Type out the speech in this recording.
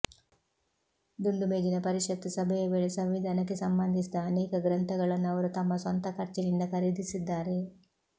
ದುಂಡು ಮೇಜಿನ ಪರಿಷತ್ ಸಭೆಯ ವೇಳೆ ಸಂವಿಧಾನಕ್ಕೆ ಸಂಬಂಧಿಸಿದ ಅನೇಕ ಗ್ರಂಥಗಳನ್ನು ಅವರು ತಮ್ಮ ಸ್ವಂತ ಖರ್ಚಿನಿಂದ ಖರೀದಿಸಿದ್ದಾರೆ